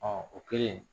o kɛlen